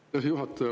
Hea juhataja!